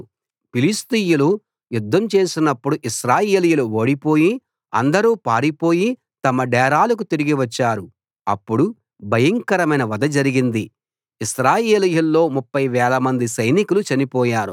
ఫిలిష్తీయులు యుద్ధం చేసినప్పుడు ఇశ్రాయేలీయులు ఓడిపోయి అందరూ పారిపోయి తమ డేరాలకు తిరిగి వచ్చారు అప్పుడు భయంకరమైన వధ జరిగింది ఇశ్రాయేలీయుల్లో 30 వేలమంది సైనికులు చనిపోయారు